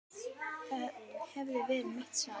Það hefði verið mitt svar.